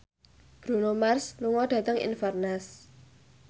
Bruno Mars lunga dhateng Inverness